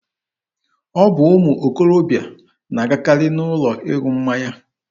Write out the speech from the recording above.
Ọ bụ ụmụ okorobịa na-agakarị n'ụlọ ịṅụ mmanya.